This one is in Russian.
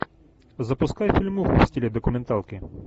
запускай фильмуху в стиле документалки